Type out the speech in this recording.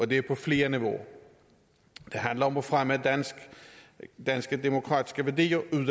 det er på flere niveauer det handler om at fremme danske demokratiske værdier ude i